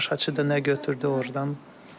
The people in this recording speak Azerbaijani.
Tamaşaçı da nə götürdü ordan?